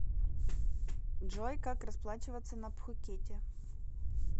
джой как расплачиваться на пхукете